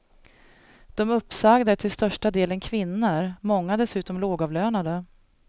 De uppsagda är till största delen kvinnor, många dessutom lågavlönade.